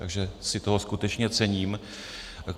Takže si toho skutečně cením.